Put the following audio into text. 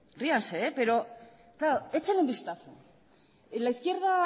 ríanse pero échele un vistazo la izquierda